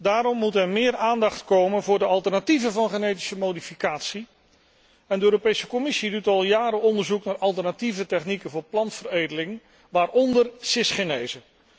Daarom moet er meer aandacht komen voor de alternatieven van genetische modificatie en de Europese Commissie doet al jaren onderzoek naar alternatieve technieken voor plantenveredeling, waaronder cisgenese.